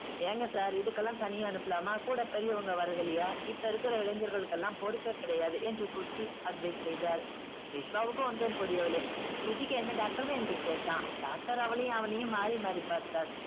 ஏங்க sir இதுக்கெல்லாம் தனியா அனுப்பலாமா கூட பெரியவங்க வர்றதில்லையா இப்ப இருக்கிற இளைஞர்களுக்கெல்லாம் பொறுப்பே கிடையாது என்று advice செய்தார் விஷ்வாவுக்கு ஒன்றும் புரியவில்லை சுஜிக்கு என்ன doctor என்று கேட்டான் doctor அவளையும் அவனையும் மாறி மாறி பார்த்தார்